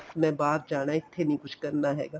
ਮੈਂ ਬਾਹਰ ਜਾਣਾ ਇੱਥੇ ਨੀਂ ਕੁੱਝ ਕਰਨਾ ਹੈਗਾ